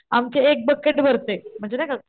आमची एक बकेट भरते म्हणजे नाही का,